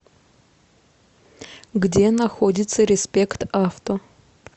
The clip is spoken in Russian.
где находится респект авто